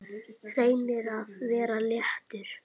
Reynir að vera léttur.